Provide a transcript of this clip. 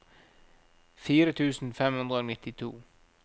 fire tusen fem hundre og nittito